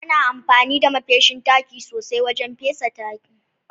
Ana amfani da ma feshin taki sosai wajen fesa taki.